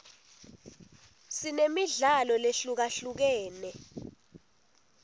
sinemidlalo lehlukahlukene